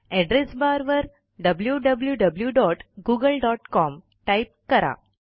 address barवर wwwgooglecom type करा